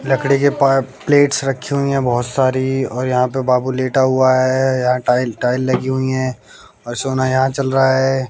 लकड़ी के पा प्लेट्स रखी हुई है बहोत सारी और यहां पे बाबू लेटा हुआ है यहां टाइल टाइल लगी हुई है और सोना यहां चल रहा है।